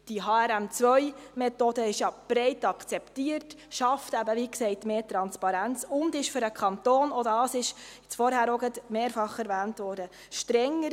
Die HRM2-Methode ist ja breit akzeptiert, sie schafft – wie gesagt – mehr Transparenz und ist für den Kanton – auch dies wurde vorhin mehrfach erwähnt – strenger.